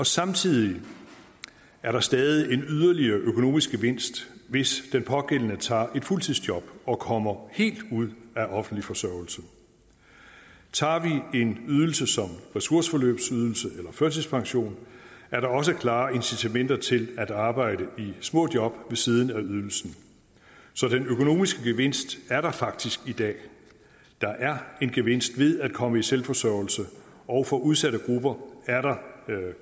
samtidig er der stadig en yderligere økonomisk gevinst hvis den pågældende tager et fuldtidsjob og kommer helt ud af offentlig forsørgelse tager vi en ydelse som ressourceforløbsydelse eller førtidspension er der også klare incitamenter til at arbejde i små job ved siden af ydelsen så den økonomiske gevinst er der faktisk i dag der er en gevinst ved at komme i selvforsørgelse og for udsatte grupper er der